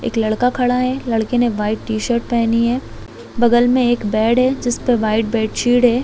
एक लड़का खड़ा है एक लड़का वाइट टी- शर्ट पहनी है बगल में बेड है जिसमें वाइट बेडशीट है।